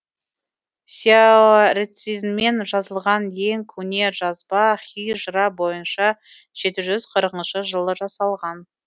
сяоэрцзинмен жазылған ең көне жазба һижра бойынша жеті жүз қырқыншы жылы жасалған